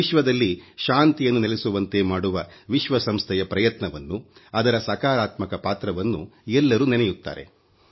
ವಿಶ್ವದಲ್ಲಿ ಶಾಂತಿಯನ್ನು ನೆಲೆಸುವಂತೆ ಮಾಡುವ ವಿಶ್ವಸಂಸ್ಥೆಯ ಪ್ರಯತ್ನವನ್ನು ಅದರ ಸಕಾರಾತ್ಮಕ ಪಾತ್ರವನ್ನು ಎಲ್ಲರೂ ನೆನೆಯುತ್ತಾರೆ